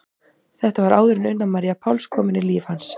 Þetta var áður en Una María Páls kom inn í líf hans.